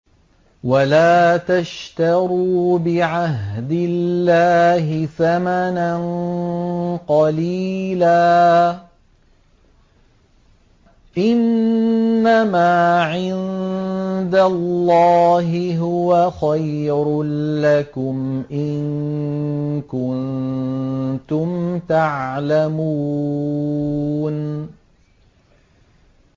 وَلَا تَشْتَرُوا بِعَهْدِ اللَّهِ ثَمَنًا قَلِيلًا ۚ إِنَّمَا عِندَ اللَّهِ هُوَ خَيْرٌ لَّكُمْ إِن كُنتُمْ تَعْلَمُونَ